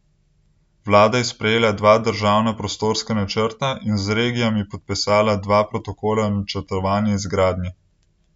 Vlada je sprejela dva državna prostorska načrta in z regijami podpisala dva protokola o načrtovani izgradnji.